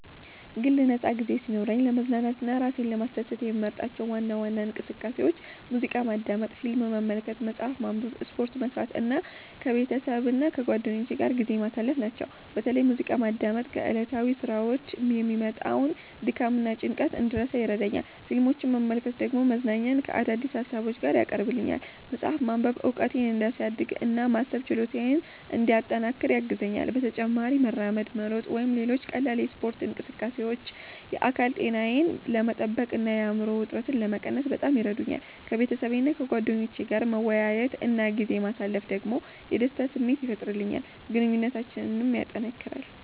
የግል ነፃ ጊዜ ሲኖረኝ ለመዝናናትና ራሴን ለማስደሰት የምመርጣቸው ዋና ዋና እንቅስቃሴዎች ሙዚቃ ማዳመጥ፣ ፊልም መመልከት፣ መጽሐፍ ማንበብ፣ ስፖርት መስራት እና ከቤተሰብና ከጓደኞቼ ጋር ጊዜ ማሳለፍ ናቸው። በተለይ ሙዚቃ ማዳመጥ ከዕለታዊ ሥራዎች የሚመጣውን ድካምና ጭንቀት እንድረሳ ይረዳኛል፣ ፊልሞችን መመልከት ደግሞ መዝናኛን ከአዳዲስ ሀሳቦች ጋር ያቀርብልኛል። መጽሐፍ ማንበብ እውቀቴን እንዲያሳድግ እና የማሰብ ችሎታዬን እንዲያጠናክር ያግዘኛል። በተጨማሪም መራመድ፣ መሮጥ ወይም ሌሎች ቀላል የስፖርት እንቅስቃሴዎች የአካል ጤናዬን ለመጠበቅ እና የአእምሮ ውጥረትን ለመቀነስ በጣም ይረዱኛል። ከቤተሰቤና ከጓደኞቼ ጋር መወያየት እና ጊዜ ማሳለፍ ደግሞ የደስታ ስሜት ይፈጥርልኛል፣ ግንኙነታችንንም ያጠናክራል።